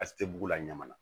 A tɛ bugu la ɲaman na